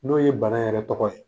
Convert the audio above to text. N'o ye bana yɛrɛ tɔgɔ ye